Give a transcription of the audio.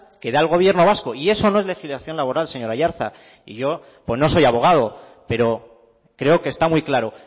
que da el gobierno vasco y eso no es legislación laboral señor aiartza y yo pues no soy abogado pero creo que está muy claro